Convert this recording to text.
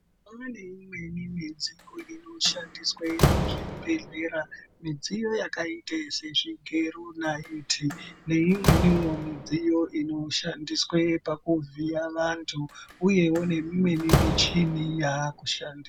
Kwane imweni midziyo inoshandiswe muzvibhehlera, midziyo yakaita sezvigero, naiti neimweniwo midziyo inoshandiswe pakuvhiya vantu uyewo neimweni michini yakushandi.